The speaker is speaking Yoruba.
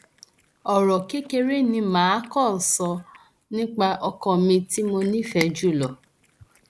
ọrọ kékeré ni mà á kàn sọ nípa ọkọ mi tí mo nífẹẹ jù lọ